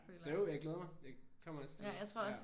Så jo jeg glæder mig. Jeg kommer til næste møde